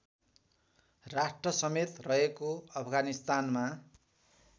राष्ट्रसमेत रहेको अफगानिस्तानमा